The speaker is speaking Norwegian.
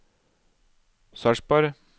Sarpsborg